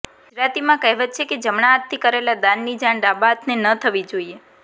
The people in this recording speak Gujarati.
ગુજરાતીમાં કહેવત છે કે જમણા હાથથી કરેલા દાનની જાણ ડાબા હાથને ન થવી જોઈએ